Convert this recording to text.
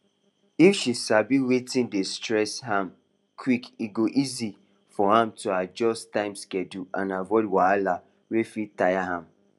if she sabi wetin dey stress am quick e go easy for am to adjust time schedule and avoid wahala wey fit tire am